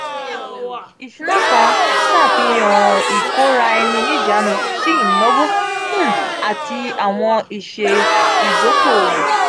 isuna kan ṣafihan ikoraeninijanu si inawo um ati awọn iṣẹ idoko-owo.